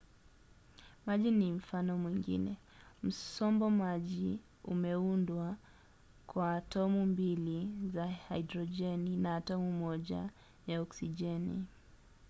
maji ni mfano mwingine. msombo maji umeundwa kwa atomu mbili za hidrojeni na atomu moja ya oksijeni